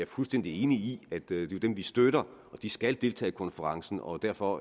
fuldstændig enig i at det er dem vi støtter og de skal deltage i konferencen og derfor